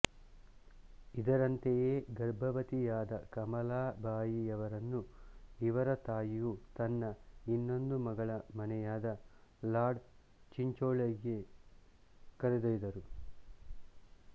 ಇದರಂತೆಯೇ ಗರ್ಭವತಿಯಾದ ಕಮಲಾಬಾಯಿಯವರನ್ನು ಇವರ ತಾಯಿಯು ತನ್ನ ಇನ್ನೊಂದು ಮಗಳ ಮನೆಯಾದ ಲಾಡ್ ಚಿಂಚೋಳಿಗೆ ಕರೆದೊಯ್ದರು